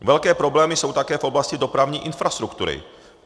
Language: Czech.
Velké problémy jsou také v oblasti dopravní infrastruktury.